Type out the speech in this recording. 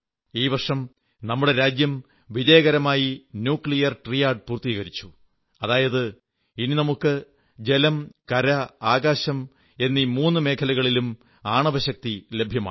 ഈ വർഷം നമ്മുടെ രാജ്യം വിജയകരമായി ആണവ ത്രിത്വം പൂർത്തീകരിച്ചു അതായത് ഇനി നമുക്ക് ജലം കര ആകാശം എന്നീ മൂന്നു മേഖലകളിലും ആണവശക്തി ലഭ്യമാണ്